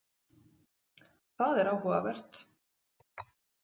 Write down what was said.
Það er áhugavert.